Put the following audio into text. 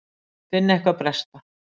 Finn eitthvað bresta.